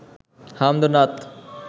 হামদ ও নাত